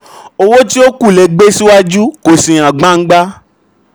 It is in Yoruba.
tí iye jẹ 5689 wọ́n kọ 5869 — àṣìṣe yìí um jẹ gbígbésí. um